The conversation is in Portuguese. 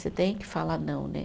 Você tem que falar não, né?